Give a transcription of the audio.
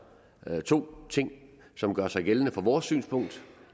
to ting som gør sig gældende set fra vores synspunkt